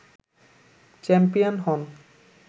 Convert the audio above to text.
champion হন